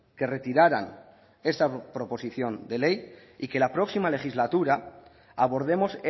que retiraran esa proposición de ley y que la próxima legislatura abordemos